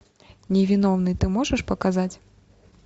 невиновный ты можешь показать